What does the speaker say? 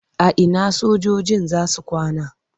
A ina sojojin za su kwana?